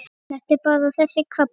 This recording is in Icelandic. Þetta er bara þessi krabbi.